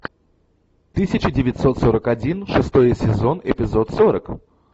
тысяча девятьсот сорок один шестой сезон эпизод сорок